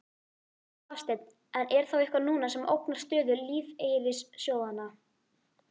Hafsteinn: En er þá eitthvað núna sem ógnar stöðu lífeyrissjóðanna?